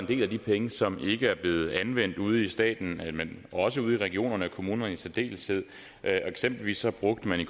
del af de penge som ikke er blevet anvendt ude i staten men også ude i regionerne og i kommuner i særdeleshed eksempelvis brugte man i